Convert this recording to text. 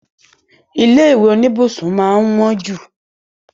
Ilé ìwé bi ilé máa n wọn jú.